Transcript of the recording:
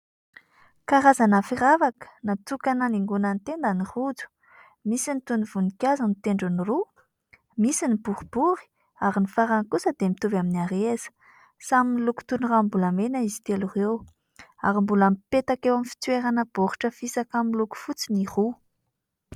Karazana firavaka natokana hanaingona ny tenda ny rojo. Misy ny toy ny voninkazo ny tendrony roa, misy ny boribory ary ny farany kosa dia mitovy amin'ny hareza. Samy miloko toy ny ranombolamena izy telo ireo ary mbola mipetaka eo amin'ny fitoerana baoritra fisaka miloko fotsy ny roa.